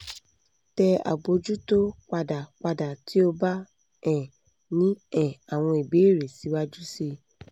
tẹ abojuto pada pada ti o ba um ni um awọn ibeere siwaju sii